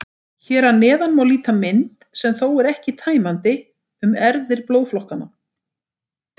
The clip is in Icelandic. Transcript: Hér að neðan má líta mynd, sem þó er ekki tæmandi, um erfðir blóðflokkanna.